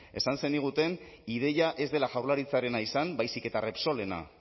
esan zeniguten ideia ez dela jaurlaritzarena izan baizik eta repsolena